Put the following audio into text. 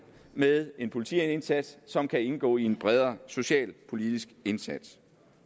med en politiindsats som kan indgå i en bredere socialpolitisk indsats